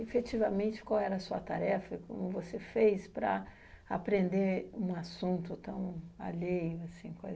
Efetivamente, qual era a sua tarefa e como você fez para aprender um assunto tão alheio, assim,